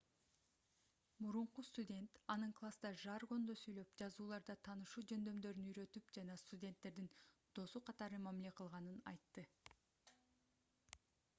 мурунку студент анын класста жаргондо сүйлөп жазууларда таанышуу жөндөмдөрүн үйрөтүп жана студенттердин досу катары мамиле кылганын айтты